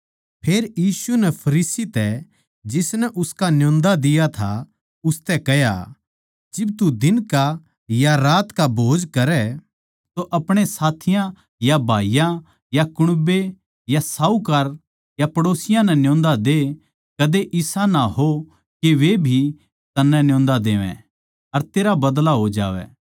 फेर यीशु नै फिरीसी तै जिसनै उसका न्योंदा दिया था उसतै कह्या जिब तू दिन का या रात का भोज करै तो अपणे साथियाँ या भाईयाँ या कुण्बे या साहूकार पड़ोसियाँ नै ना न्योंद कदे इसा ना हो के वे भी तन्नै न्योंदा देवै अर तेरा बदला हो जावै